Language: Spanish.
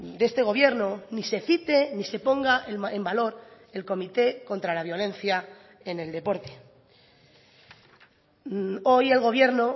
de este gobierno ni se cite ni se ponga en valor el comité contra la violencia en el deporte hoy el gobierno